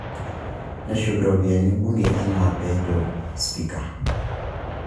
Neshuk iropiyiani bunge enaa pee etejo spika